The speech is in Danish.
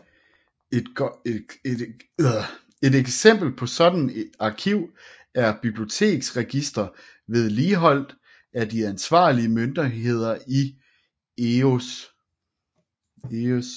Et eksempel på et sådan arkiv er biblioteksregistre vedligeholdt af de ansvarlige myndigheder i EØS